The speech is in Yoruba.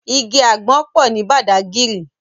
Igi ágbòn pò ni Bàdágìrí